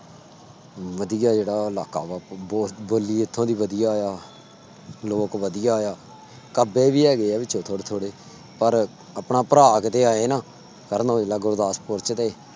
ਵਧੀਆ ਜਿਹੜਾ ਇਲਾਕਾ ਵਾ ਬੋ ਬੋਲੀ ਇੱਥੋਂ ਦੀ ਵਧੀਆ ਆ, ਲੋਕ ਵਧੀਆ ਆ, ਕੱਬੇ ਵੀ ਹੈਗੇ ਆ ਵਿਚੋਂ ਥੋੜ੍ਹੇ ਥੋੜ੍ਹੇ ਪਰ ਆਪਣਾ ਭਰਾ ਕਿਤੇ ਆਏ ਨਾ ਕਰਨ ਔਜਲਾ ਗੁਰਦਾਸਪੁਰ ਚ ਤੇ